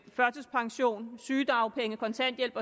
førtidspension sygedagpenge kontanthjælp